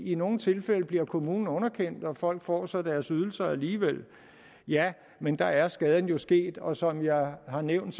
i nogle tilfælde bliver kommunen underkendt og folk får så deres ydelser alligevel ja men da er skaden jo sket og som jeg har nævnt